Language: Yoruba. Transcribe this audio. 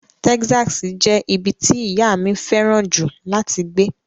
Texas jẹ́ ibi tí ìyá mi fẹ́ràn jù láti gbé.